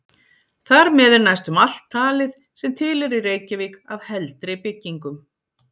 Þar með er næstum alt talið, sem til er í Reykjavík af heldri byggingum.